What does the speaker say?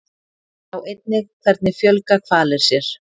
Sjá einnig Hvernig fjölga hvalir sér?